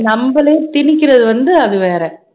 நம்மளே திணிக்கிறது வந்து அது வேற